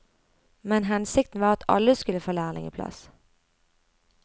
Men hensikten var at alle skulle få lærlingeplass.